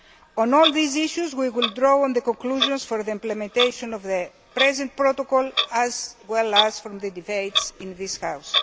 On all these issues, we will draw on the conclusions from the implementation of the present protocol as well as from the debates in this House.